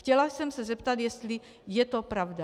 Chtěla jsem se zeptat, jestli je to pravda.